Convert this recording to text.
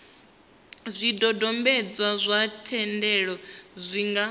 zwidodombedzwa zwa thendelo zwi nga